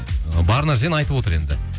ы бар нәрсені айтып отыр енді